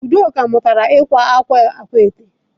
Udoka mutara ikwa akwa akwaete.